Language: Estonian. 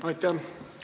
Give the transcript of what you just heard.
Aitäh!